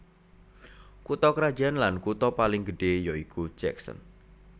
Kutha krajan lan kutha paling gedhé ya iku Jackson